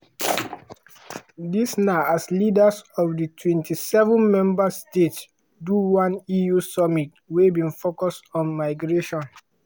dis na as leaders of di 27 member states do one eu summit wey bin focus on migration.